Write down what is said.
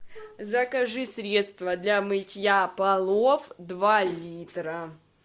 закажи средство для мытья полов два литра